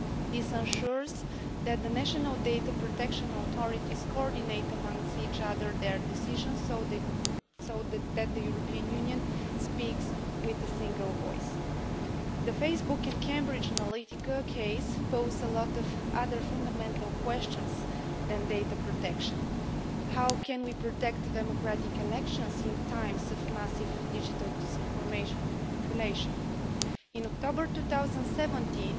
This ensures that the national data protection authorities coordinate amongst each other their decisions so that the European Union speaks with a single voice. The Facebook and Cambridge Analytica case poses a lot of other fundamental questions than data protection how can we protect democratic elections in times of massive digital disinformation or manipulation? In October 2017,